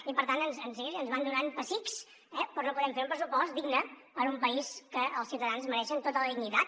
i per tant ens van donant pessics eh però no podem fer un pressupost digne en un país en que els ciutadans mereixen tota la dignitat